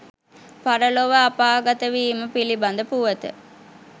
පරලොව අපාගතවීම පිළිබඳ පුවත